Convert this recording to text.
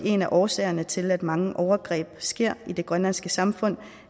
en af årsagerne til at mange overgreb sker i det grønlandske samfund